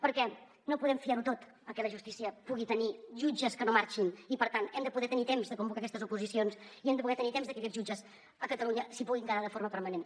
perquè no podem fiar ho tot a que la justícia pugui tenir jutges que no marxin i per tant hem de poder tenir temps de convocar aquestes oposicions i hem de poder tenir temps de que aquests jutges a catalunya s’hi puguin quedar de forma permanent